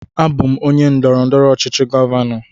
Abụ m onye ndọrọndọrọ ọchịchị govano.